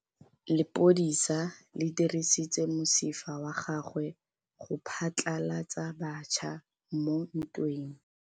Lepodisa le dirisitse mosifa wa gagwe go phatlalatsa batšha mo ntweng.